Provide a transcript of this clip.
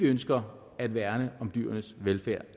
ønsker at værne om dyrenes velfærd